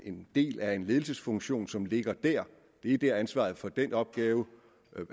en del af en ledelsesfunktion som ligger der det er der ansvaret for den opgave